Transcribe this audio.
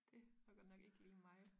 Det var godt nok ikke lige mig